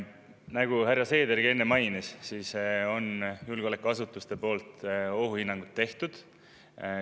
Nagu härra Seedergi enne mainis, julgeolekuasutused on ohuhinnangud teinud.